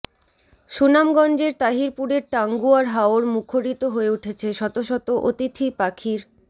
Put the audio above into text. সুনামগঞ্জের তাহিরপুরের টাঙ্গুয়ার হাওর মুখরিত হয়ে উঠেছে শত শত অতিথি পাখির